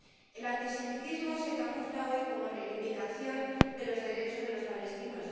El antisemitismo se camufla hoy como reivindicación de los derechos de los palestinos.